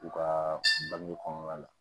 U ka bange kɔnɔna la